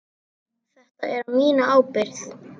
Þetta er á mína ábyrgð.